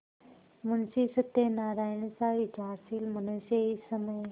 मुंशी सत्यनारायणसा विचारशील मनुष्य इस समय